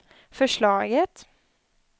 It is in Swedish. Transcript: förslaget